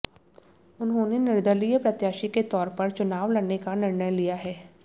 उन्होंने निर्दलीय प्रत्याशी के तौर पर चुनाव लड़ने का निर्णय लिया है